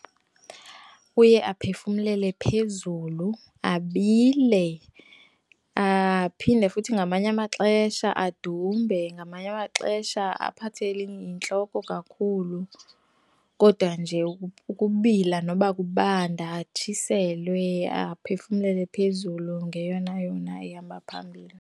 Uye aphefumlele phezulu, abile aphinde futhi ngamanye amaxesha adumbe, ngamanye amaxesha aphathe yintloko kakhulu, kodwa nje ukubila noba kubanda, atshiselwe aphefumlele phezulu ngeyona yona ehamba phambili.